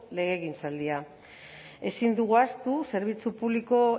legegintzaldia ezin dugu ahaztu zerbitzu publiko